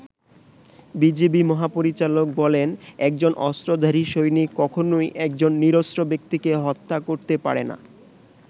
BGB মহাপরিচালক বলেন, একজন অস্ত্রধারী সৈনিক কখনোই একজন নিরস্ত্র ব্যক্তিকে হত্যা করতে পারেনা।